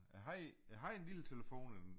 Jeg havde jeg havde en lille telefon en